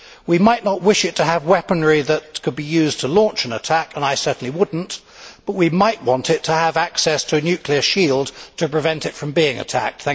We might not wish it to have weaponry that could be used to launch an attack and I certainly would not but we might want it to have access to a nuclear shield to prevent it from being attacked.